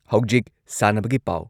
ꯍꯧꯖꯤꯛ ꯁꯥꯟꯅꯕꯒꯤ ꯄꯥꯎ ꯫